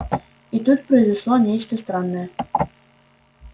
и тут произошло нечто странное